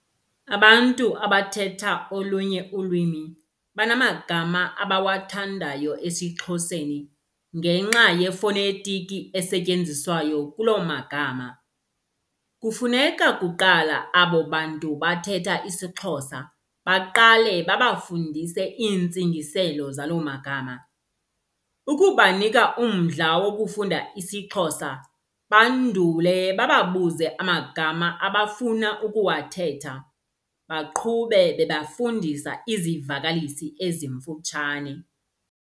Abantu abathetha olunye ulwimi banamagama abawathandayo esiXhoseni ngenxa yefonetiki esetyenziswayo kuloo magama. Kufuneka kuqala abo bantu bathetha isiXhosa baqale babafundise iintsingiselo zaloo magama. Ukubanika umdla wokufunda isiXhosa bandule bababuze amagama abafuna ukuwathetha. Baqhube bebafundisa izivakalisi ezimfutshane.